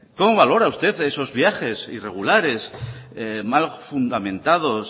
cómo valora usted esos viajes irregulares mal fundamentados